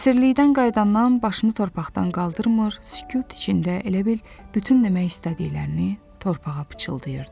Əsirlikdən qayıdandan başını torpaqdan qaldırmır, sükut içində elə bil bütün demək istədiklərini torpağa pıçıldayırdı.